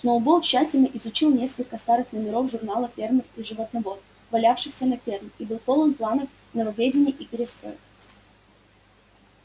сноуболл тщательно изучил несколько старых номеров журнала фермер и животновод валявшихся на ферме и был полон планов нововведений и перестроек